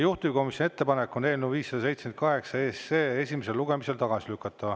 Juhtivkomisjoni ettepanek on eelnõu 578 esimesel lugemisel tagasi lükata.